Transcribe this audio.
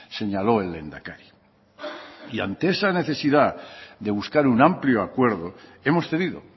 señalo el lehendakari y ante esa necesidad de buscar un amplio acuerdo hemos tenido